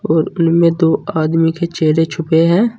और इनमें दो आदमी के चेहरे छूपे हैं।